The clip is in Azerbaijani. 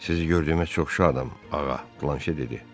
Sizi gördüyümə çox şadam, ağa, Planşe dedi.